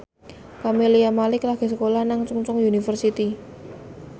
Camelia Malik lagi sekolah nang Chungceong University